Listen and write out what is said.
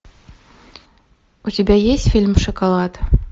у тебя есть фильм шоколад